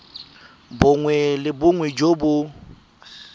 bongwe le bongwe jo bo